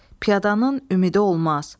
Piyadanın ümidi olmaz.